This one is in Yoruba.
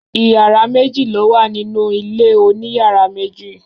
Ìyàrá méjì ló wà nínú ilé oníyàrá méjì.